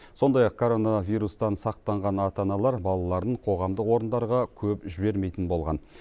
сондай ақ коронавирустан сақтанған ата аналар балаларын қоғамдық орындарға көп жібермейтін болған